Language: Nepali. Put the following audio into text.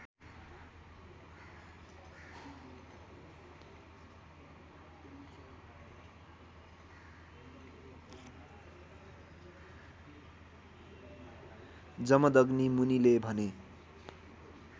जमदग्नि मुनिले भने